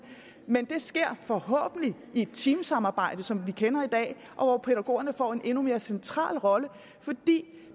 men det sker forhåbentlig i et teamsamarbejde som vi kender i dag og hvor pædagogerne får en endnu mere central rolle fordi